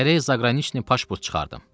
Gərək zaqraniçni pasport çıxardım.